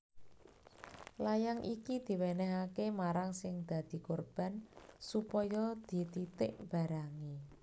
Layang iki diwènèhaké marang sing dadi korban supaya dititik barangé